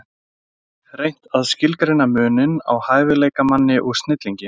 Reynt að skilgreina muninn á hæfileikamanni og snillingi.